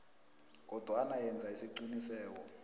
kodwana yenza isiqiniseko